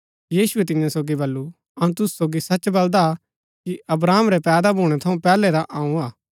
यीशुऐ तियां सोगी बल्लू अऊँ तुसू सोगी सच बलदा कि अब्राहम रै पैदा भूणै थऊँ पैहलै रा अऊँ हा